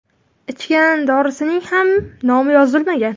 Ichgan dorisining ham nomi yozilmagan.